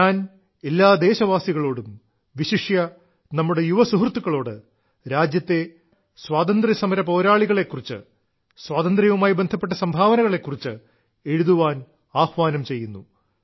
ഞാൻ എല്ലാ ദേശവാസികളോടും വിശിഷ്യാ നമ്മുടെ യുവസുഹൃത്തുക്കളോട് രാജ്യത്തെ സ്വാതന്ത്ര്യസമര പോരാളികളെ കുറിച്ച് സ്വാതന്ത്ര്യവുമായി ബന്ധപ്പെട്ട സംഭാവനകളെ കുറിച്ച് എഴുതാൻ ആഹ്വാനം ചെയ്യുന്നു